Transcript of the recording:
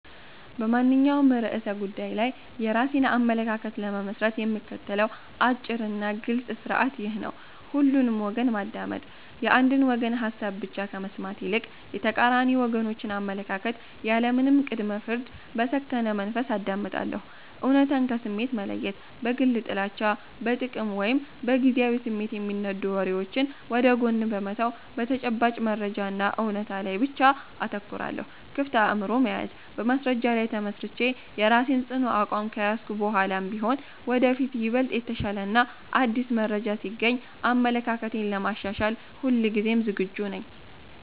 በማንኛውም ርዕሰ ጉዳይ ላይ የራሴን አመለካከት ለመመስረት የምከተለው አጭርና ግልጽ ሥርዓት ይህ ነው፦ ሁሉንም ወገን ማዳመጥ፦ የአንድን ወገን ሐሳብ ብቻ ከመስማት ይልቅ፣ የተቃራኒ ወገኖችን አመለካከት ያለምንም ቅድመ-ፍርድ በሰከነ መንፈስ አዳምጣለሁ። እውነታን ከስሜት መለየት፦ በግል ጥላቻ፣ በጥቅም ወይም በጊዜያዊ ስሜት የሚነዱ ወሬዎችን ወደ ጎን በመተው፣ በተጨባጭ መረጃና እውነት ላይ ብቻ አተኩራለሁ። ክፍት አእምሮ መያዝ፦ በማስረጃ ላይ ተመስርቼ የራሴን ጽኑ አቋም ከያዝኩ በኋላም ቢሆን፣ ወደፊት ይበልጥ የተሻለና አዲስ መረጃ ሲገኝ አመለካክቴን ለማሻሻል ሁልጊዜም ዝግጁ ነኝ።